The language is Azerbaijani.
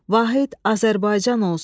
Vahid Azərbaycan olsun.